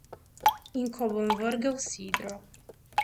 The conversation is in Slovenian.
In ko bom vrgel sidro.